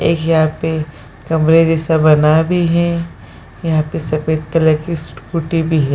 एक यहाँ पे कमरे जैसा बना भी है यहां पे सफ़ेद कलर की स्कूटी भी है ।